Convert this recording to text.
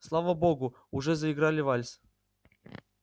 слава богу уже заиграли вальс